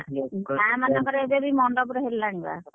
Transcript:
ହଁ ଗାଁ ମାନଙ୍କରେ ଏବେବି ମଣ୍ଡପରେ ହେଲାଣି ବାହାଘର।